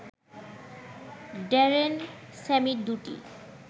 Darren Sammy দুটি